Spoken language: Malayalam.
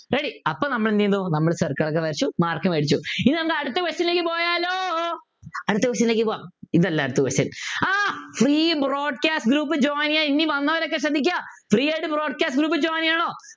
ready അപ്പൊ നമ്മൾ എന്ത് ചെയ്തു നമ്മൾ circle വരച്ചു mark മേടിച്ചു ഇനി നമുക്ക് അടുത്ത question ലേക്ക് പോയാലോ അടുത്ത question ലേക്ക് പോകാം ഇതല്ല അടുത്ത question ആഹ് Free broadcast group join ചെയ്യാ ഇനി വന്നവരൊക്കെ ശ്രദ്ധിക്കുക Free ആയിട്ട് broadcast group join ചെയ്യാണോ